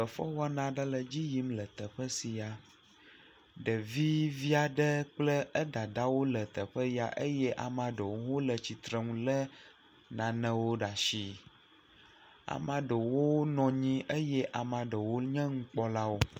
Fefe wɔna ɖe le dzi yim le teƒe sia ɖevi viaɖe kple edada wo le teƒe ya eye amaɖo wo hã wo le tsitrenu le nanewo ɖa shi, amaɖewo nɔ anyi eye amaɖewo nye nu kpɔlawo.